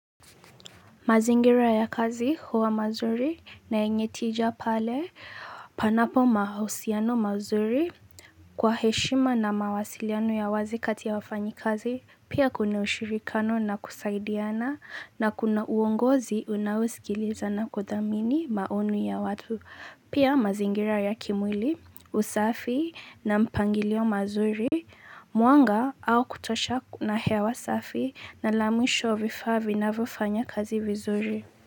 Mazingira ya kazi huwa mazuri na yenye tija pale panapo mahausiano mazuri kwa heshima na mawasiliano ya wazi kati ya wafanyikazi pia kuna ushirikiano na kusaidiana na kuna uongozi unaosikiliza na kudhamini maoni ya watu. Pia mazingira ya kimwili, usafi na mpangilio mazuri, mwanga wa kutosha na hewa usafi na lamwisho vifaa vinavyofanya kazi vizuri.